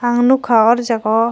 ang nogka or jaga o.